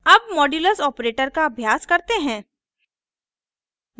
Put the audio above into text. अब modulus operator का अभ्यास करते हैं